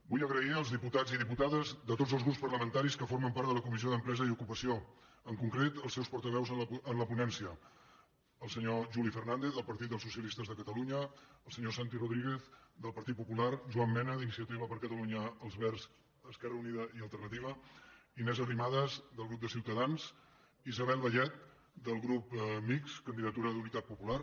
vull agrair als diputats i diputades de tots els grups parlamentaris que formen part de la comissió d’empresa i ocupació en concret als seus portaveus en la ponència el senyor juli fernandez del partit del socialistes de catalunya el senyor santi rodríguez del partit popular joan mena d’iniciativa per catalunya verds esquerra unida i alternativa inés arrimadas del grup de ciutadans isabel vallet del grup mixt candidatura d’unitat popular